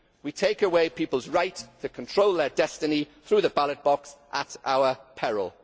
We take away people's right to control their destiny through the ballot box at our peril.